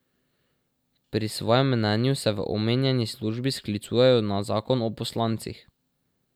Pri svojem mnenju se v omenjeni službi sklicujejo na zakon o poslancih.